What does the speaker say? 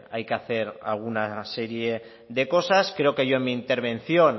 hay que hacer alguna serie de cosas creo que yo en mi intervención